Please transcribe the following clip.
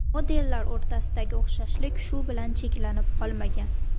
Modellar o‘rtasidagi o‘xshashlik shu bilan cheklanib qolmagan.